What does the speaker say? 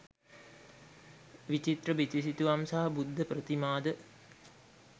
විචිත්‍ර බිතුසිතුවම් සහ බුද්ධ ප්‍රතිමාද